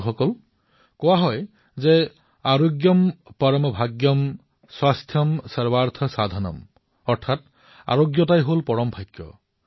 বন্ধুসকল আমাৰ ইয়াত কোৱা হয় আৰোগ্যম পৰম ভাগ্যম স্বাস্থ্যম স্বাৰ্থ সাধনম অৰ্থাৎ আৰোগ্যই হল সবাতোকৈ ডাঙৰ ভাগ্য